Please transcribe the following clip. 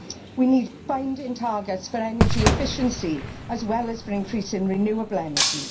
We need binding targets for energy efficiency as well as for increasing renewable energy.